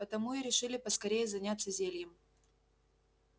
потому и решили поскорее заняться зельем